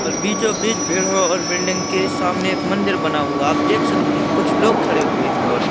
और बीचों बीच पेड़ों और बिल्डिंग के सामने एक मंदिर बना हुआ आप देख सकते हो कुछ लोग खड़े हुए हैं और--